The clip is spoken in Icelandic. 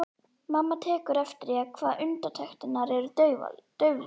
Mamma tekur eftir því hvað undirtektirnar eru dauflegar.